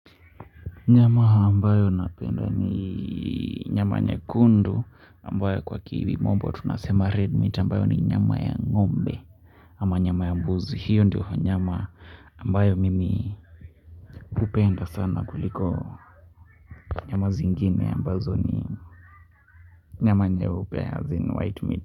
Nyama ambayo napenda ni nyama nyekundu ambayo kwa kimombo tunasema red meat ambayo ni nyama ya ngombe ama nyama ya buzi hiyo ndiyo nyama ambayo mimi hupenda sana kuliko nyama zingine ambazo ni nyama nyeupe as in white meat.